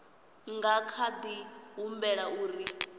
nga kha di humbela uri